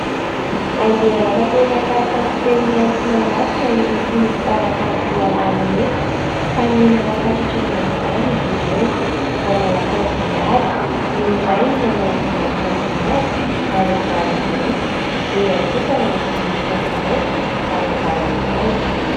Andeha hanatanteraka fampisehona etsy Mahamasina ireto mpanakanto roalahy ireto ka niomana fatratra ny amin' izany izy ireo nanao akanjo mihaja ny iray nanao ambonin'akanjo manga ary ambaniny mainty, ny iray kosa nanao ambonin'akanjo mainty ary ambaniny manga.